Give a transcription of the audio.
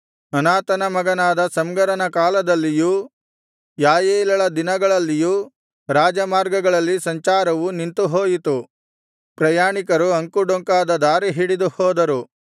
ಅನಾತನ ಮಗನಾದ ಶಮ್ಗರನ ಕಾಲದಲ್ಲಿಯೂ ಯಾಯೇಲಳ ದಿನಗಳಲ್ಲಿಯೂ ರಾಜಮಾರ್ಗಗಳಲ್ಲಿ ಸಂಚಾರವು ನಿಂತುಹೋಯಿತು ಪ್ರಯಾಣಿಕರು ಅಂಕುಡೊಂಕಾದ ದಾರಿಹಿಡಿದು ಹೋದರು